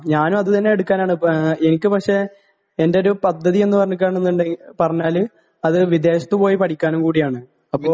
ഞാനും അതുതന്നെ എടുക്കാനാണ്, എനിക്കുപക്ഷേ എന്തോരു പദ്ധതിയെന്ന്‌ പറഞ്ഞാല് അത് വിദേശത്തുപോയി പഠിക്കാനും കൂടിയാണ്.അപ്പൊ...